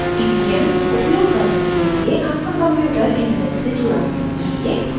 ppm उपयोग करने के लिए आपका कंप्यूटर इन्टरनेट से जुड़ा होना चाहिए